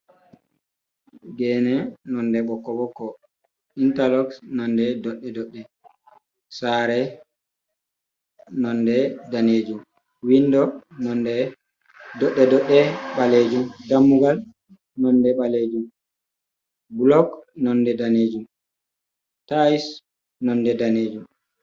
Gene nonde ɓokko-ɓokko, interlox nonde dodde-dodde, sare nonde danejum, windo nonde dodde-dodde balejum, dammugal nonde ɓalejum, blok nonde danejum, tais nonde danejum.